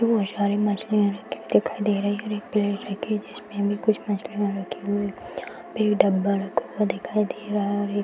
बहुत सारी मछलियाँ रखी हुई दिखाई दे रही है और एक प्लेट रखी है जिसमे भी कुछ मछलिया रखी हुई एक डब्बा रखा हुआ दिखाई दे रहा है और एक --